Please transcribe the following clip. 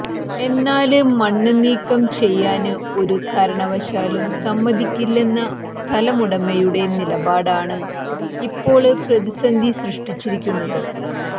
എന്നാല് മണ്ണ് നീക്കം ചെയ്യാന് ഒരു കാരണവശാലും സമ്മതിക്കില്ലെന്ന സ്ഥലമുടമയുടെ നിലപാടാണ് ഇപ്പോള് പ്രതിസന്ധി സൃഷ്ടിച്ചിരിക്കുന്നത്